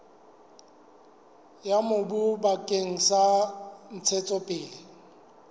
ya mobu bakeng sa ntshetsopele